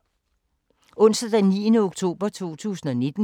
Onsdag d. 9. oktober 2019